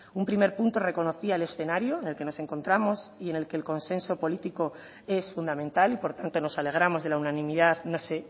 un primer punto reconocía el escenario en el que nos encontramos y en el que el consenso político es fundamental y por tanto nos alegramos de la unanimidad no sé